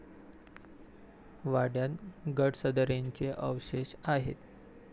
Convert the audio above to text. वाड्यात गडसदरेंचे अवशेष आहेत.